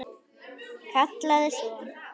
Kallaði svo: